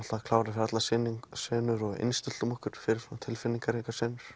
klárir fyrir allar senur og innstilltum okkur fyrir tilfinningaríkar senur